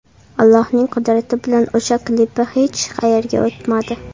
Allohning qudrati bilan o‘sha klipi hech qayerga o‘tmadi.